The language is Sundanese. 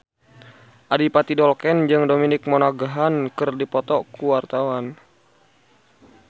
Adipati Dolken jeung Dominic Monaghan keur dipoto ku wartawan